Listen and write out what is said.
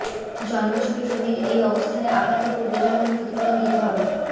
জন্মছকে শনির এই অবস্থানে আপনাকে পূর্বজন্মের ক্ষতিপূরণ দিতে হবে